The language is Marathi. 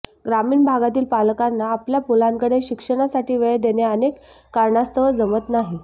ग्रामीण भागातील पालकांना आपल्या मुलांकडे शिक्षणासाठी वेळ देणे अनेक कारणास्तव जमत नाही